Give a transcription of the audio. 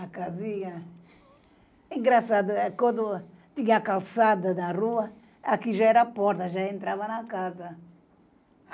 A casinha... Engraçado, eh, quando tinha a calçada na rua, aqui já era porta, já entrava na casa.